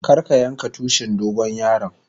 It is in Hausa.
Kar ka yanka Tushin dogon yaron.